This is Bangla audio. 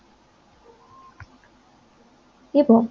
এবং